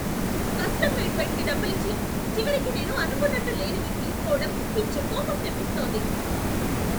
Custom made బెడ్కి డబ్బులిచ్చి, చివరికి నేను అనుకున్నట్టు లేనిది తీసుకోవడం పిచ్చి కోపం తెప్పిస్తోంది.